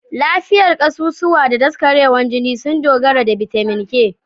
Lafiyar kasusuwa da daskarewar jini sun dogara da bitamin K.